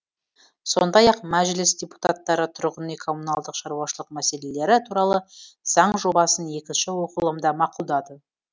сондай ақ мәжіліс депутаттары тұрғын үй коммуналдық шаруашылық мәселелері туралы заң жобасын екінші оқылымда мақұлдады